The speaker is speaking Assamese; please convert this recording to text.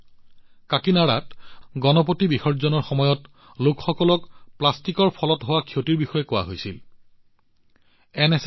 কাকিনাড়াত গণপতি বিসৰ্জনৰ সময়ত প্লাষ্টিকৰ ফলত হোৱা ক্ষতিৰ বিষয়ে লোকসকলক কোৱা হৈছিল